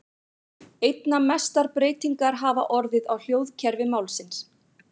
Einna mestar breytingar hafa orðið á hljóðkerfi málsins.